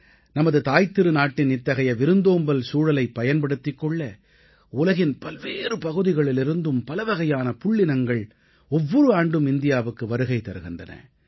நமது தாய்த்திருநாட்டின் இத்தகைய விருந்தோம்பல் சூழலைப் பயன்படுத்திக் கொள்ள உலகின் பல்வேறு பகுதிகளிலிருந்தும் பலவகையான புள்ளினங்கள் ஒவ்வொரு ஆண்டும் இந்தியாவுக்கு வருகை தருகின்றன